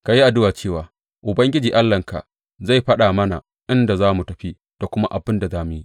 Ka yi addu’a cewa Ubangiji Allahnka zai faɗa mana inda za mu tafi da kuma abin da za mu yi.